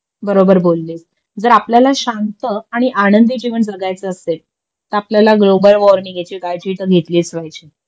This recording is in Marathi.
बरोबर बोललीस जर आपल्याला शांत आणि आंनदी जीवन जगायचं असेल तर आपल्याला ग्लोबल वॉर्मिंग याची काळजी तर घेतलीच पाहिजे